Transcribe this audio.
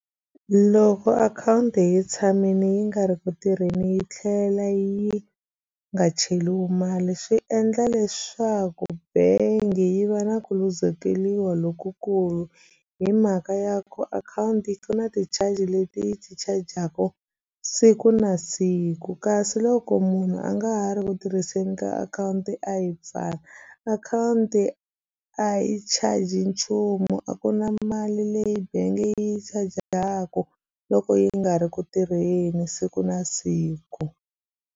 Loko akhawunti yi tshamini yi nga ri ku tirheni yi tlhela yi nga cheliwi mali swi endla leswaku bengi yi va na ku luzekeliwa lokukulu hi mhaka ya ku akhawunti ku na ti-charge leti yi ti chajaka siku na siku kasi loko munhu a nga ha ri ku tirhiseni ka akhawunti a yi pfali akhawunti a yi charge nchumu a ku na mali leyi bengi yi chajaku loko yi nga ri ku tirheni siku na siku.